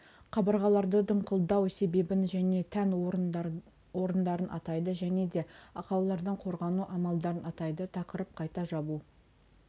қабырғаларды дымқылдау себебін және тән орындарын атайды және де ақаулардан қорғану амалдарын атайды тақырып қайта жабу